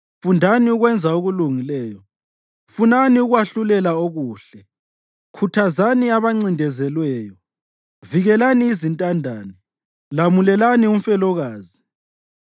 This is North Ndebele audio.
Fundani ukwenza okulungileyo; funani ukwahlulela okuhle. Khuthazani abancindezelweyo. Vikelani izintandane; lamulelani umfelokazi.